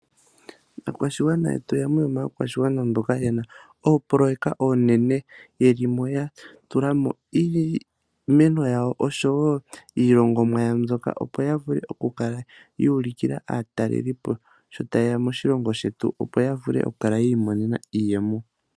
Aakwashigwana yetu oyamwe yomaakwashigwana mboka yena oopoloyeka oonene, yelimo ya tulamo iimeno yawo oshowo iilongomwa yawo mbyoka, opo ya vule oku kala ya ulukila aatalelipo sho ta yeya moshilongo shetu opo ya vule oku kala yi imonena iiyemo.